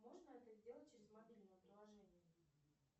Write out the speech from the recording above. можно это сделать через мобильное приложение